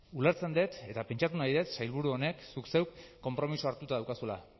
ulertzen dut eta pentsatu nahi dut sailburu honek zuk zeuk konpromisoa hartuta daukazula